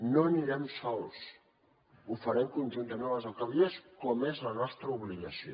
no anirem sols ho farem conjuntament amb les alcaldies com és la nostra obligació